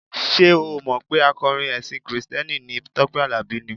Ṣé o ò mọ̀ pé akọrin ẹṣin kìrìsìtẹ́nì ni Tọ́pẹ́ Àlàbí ni?